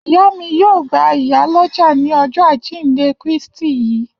Iya mi yoo gba iya loja ni Ọjọ ajinde Kristi yii.